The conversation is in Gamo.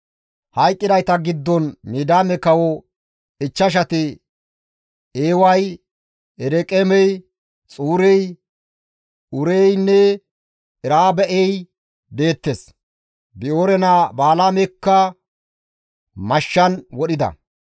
Hayqqidayta giddon Midiyaame kawo ichchashati Eeway, Ereqeemey, Xuurey, Uureynne Ereba7ey deettes; Bi7oore naa Balaamekka mashshan wodhida.